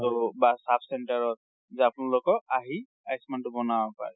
so, বা sub-centre ত যে আপোনালকে আহি আয়ুষ্মান টো বনাব পাৰে।